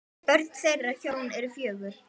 Börn þeirra hjóna eru fjögur.